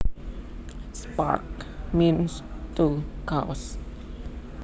Spark means to cause